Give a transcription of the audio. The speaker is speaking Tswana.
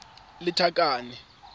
lethakane